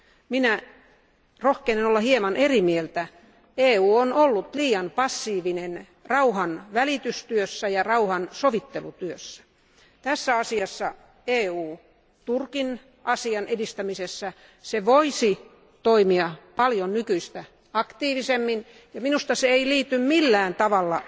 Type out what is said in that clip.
Minä rohkenen olla hieman eri mieltä, sillä EU on ollut liian passiivinen rauhan välitystyössä ja rauhan sovittelutyössä. Turkin asian edistämisessä EU voisi toimia paljon nykyistä aktiivisemmin, ja minusta se ei liity millään tavalla